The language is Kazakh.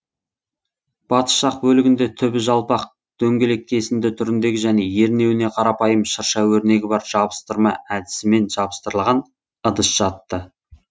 батыс жақ бөлігінде түбі жалпақ дөңгелек кесінді түріндегі және ернеуіне қарапайым шырша өрнегі бар жабыстырма әдісімен жабыстырылған ыдыс жатты